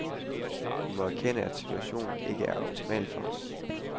Vi må erkende, at situationen jo ikke er optimal for os.